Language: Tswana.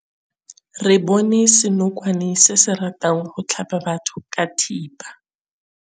Re bone senokwane se se ratang go tlhaba batho ka thipa.